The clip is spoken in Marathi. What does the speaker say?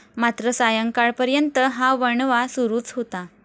मात्र सायंकाळपर्यंत हा वणवा सुरूच होता.